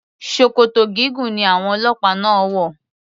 Ṣòkòtò gígùn ni àwọn ọlọ́pàá náà wò.